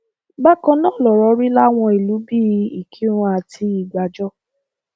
bákan náà lọrọ rí láwọn ìlú bíi ìkírùn àti ìgbàjọ